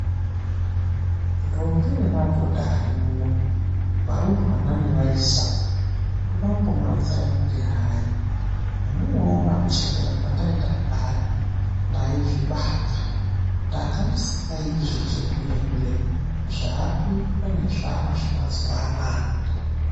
Ntombi nemadhodha arimuno, varumbwana nevayisa ndinode kumbomuronzera kuti hayi zvemunoona kuchembera kwendaita kudai, ndaizvibata ndanga ndisingaite zvechihule hule zvaakuitwa nearumbwana emazuvaanaya.